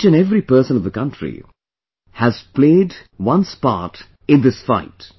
Each and every person of the country has played their part in this fight